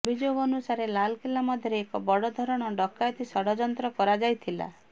ଅଭିଯୋଗ ଅନୁସାରେ ଲାଲ କିଲ୍ଲା ମଧ୍ୟରେ ଏକ ବଡ଼ ଧରଣର ଡକାୟତି ଷଡ଼ଯନ୍ତ୍ର କରାଯାଇଥିଲା